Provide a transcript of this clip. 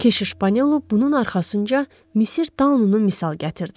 Keşiş Panelo bunun arxasınca Misir tanrının misal gətirdi.